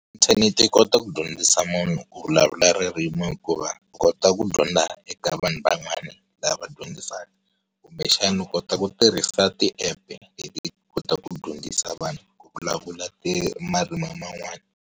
Inthanete yi kota ku dyondzisa munhu ku vulavula ririmi hikuva, u kota ku dyondza eka vanhu van'wani, lava va dyondzisaka. Kumbe xana u kota ku tirhisa ti app-e hi kota ku dyondzisa vanhu, ku vulavula marimi yan'wani.